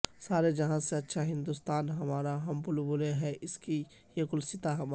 سارے جہاں سے اچھا ہندوستان ہمارا ہم بلبلیں ہیں اس کی یہ گلستاں ہمارا